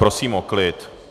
Prosím o klid.